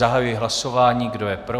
Zahajuji hlasování, kdo je pro?